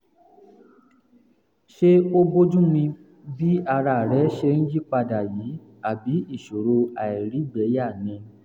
ṣé ó bójúmu bí ara rẹ̀ ṣe ń yí padà yìí àbí ìṣòro àìrígbẹ̀ẹ́yà ni?